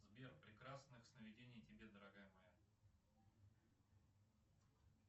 сбер прекрасных сновидений тебе дорогая моя